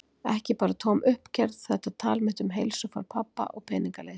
Ekki bara tóm uppgerð, þetta tal mitt um heilsufar pabba og peningaleysi.